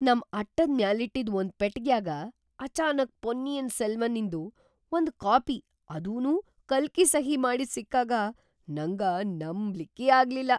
ನಮ್‌ ಅಟ್ಟದ್‌ ಮ್ಯಾಲಿಟ್ಟಿದ್‌ ಒಂದ ಪೆಟಗ್ಯಾಗ ಅಚಾನಕ್‌ ಪೊನ್ನಿಯಿನ್ ಸೆಲ್ವನ್ನಿನ್ದು ಒಂದ್ ಕಾಪಿ ಅದೂನೂ ಕಲ್ಕಿ ಸಹಿ ಮಾಡಿದ್ ಸಿಕ್ಕಾಗ ನಂಗ ನಂಬ್ಲಿಕ್ಕೇ ಆಗ್ಲಿಲ್ಲಾ!